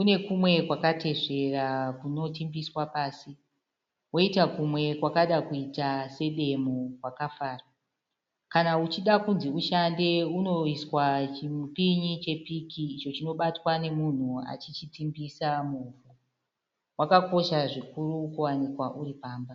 Unekumwe kwakatesvera kunotimbiswa pasi, woita kumwe kwakada kuita sedemo kwakafara. Kana uchida kunzi ushande unoiswa chimupinyi chepiki icho chinobatwa nemunhu achichitimbisa muvhu. Wakakosha zvikuru kuwanikwa uripamba.